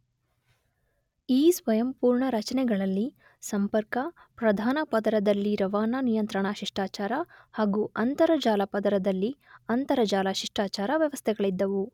ಈ ಸ್ವಯಂಪೂರ್ಣ ರಚನೆಗಳಲ್ಲಿ ಸಂಪರ್ಕ, ಪ್ರಧಾನ ಪದರದಲ್ಲಿರವಾನಾ ನಿಯಂತ್ರಣ ಶಿಷ್ಟಾಚಾರ ಹಾಗೂ ಅಂತರಜಾಲಪದರದಲ್ಲಿ ಅಂತರಜಾಲ ಶಿಷ್ಟಾಚಾರ ವ್ಯವಸ್ಥೆಗಳಿದ್ದವು.